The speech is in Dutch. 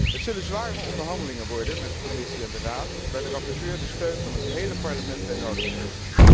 Het zullen zware onderhandelingen worden met de Commissie en de Raad, waarvoor de rapporteur de steun van het gehele Parlement nodig heeft.